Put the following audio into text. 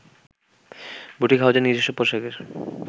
boutique হাউসের নিজস্ব পোশাকের